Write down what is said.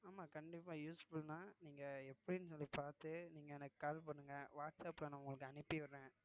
ஆமா கண்டிப்பா useful தான் நீங்க எப்படின்னு சொல்லி பாத்து நீங்க எனக்கு call பண்ணுங்க வாட்ஸ்ஆப்ல நான் உங்களுக்கு அனுப்பி விடுறேன்